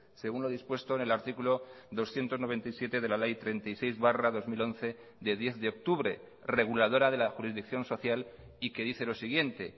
según lo dispuesto en el artículo doscientos noventa y siete de la ley treinta y seis barra dos mil once de diez de octubre reguladora de la jurisdicción social y que dice lo siguiente